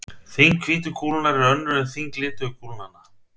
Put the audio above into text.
Þyngd hvítu kúlunnar er önnur en þyngd lituðu kúlnanna.